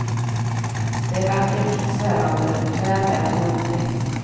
Det är vackert och svävande, väl värt en upptäckt.